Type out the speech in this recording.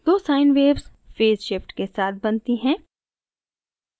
दो sine waves phase shift के साथ बनती हैं